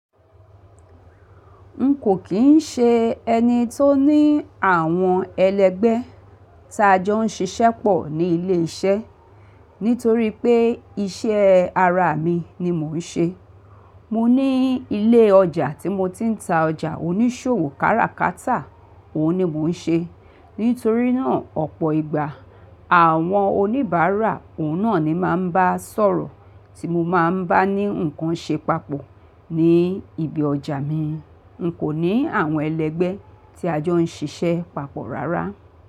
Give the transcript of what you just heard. N kò kín ṣe ẹni tó ní àwọn ẹlẹgbẹ́ ta jọ ń ṣiṣẹ́ pọ̀ ní ilé iṣẹ́, nítorí pé iṣẹ́ ara mi ni mò ń ṣe. Mo ní ilé ọjà tí mo ti ń ta ọjà onísòwò káràkátà, òun ni mò ń ṣe. Nítorí náà, ọ̀pọ̀ ìgbà àwọn oníbàárà òun náà ni máa ń bá sọ̀rọ̀ tí mo máa ń bá ní nǹkan ṣe papọ̀ ní ibi ọjà mi. N kò ní àwọn ẹlẹgbẹ́ tí a jọ ń ṣiṣẹ́ papọ̀ rárá.